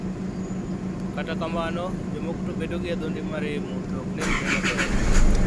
Kata kamano, jomoko to bedo gi adhonde ma remo to ok nenre maber.